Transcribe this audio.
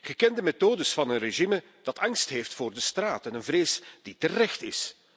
Bekende methodes van een regime dat angst heeft voor de straat en een vrees die terecht is.